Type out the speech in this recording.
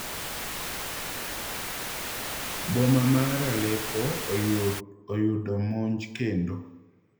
Boma mar Aleppo oyundo monj kendo